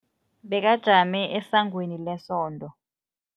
Bekajame esangweni lesonto.